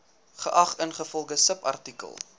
geag ingevolge subartikel